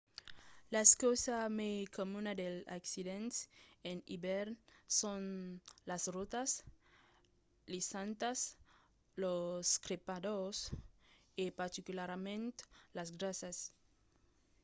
la causa mai comuna dels accidents en ivèrn son las rotas lisantas los trepadors trepadors e particularament las grasas